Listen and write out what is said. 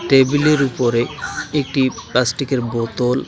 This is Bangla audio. টেবিলের উপরে একটি প্লাস্টিকের বোতল --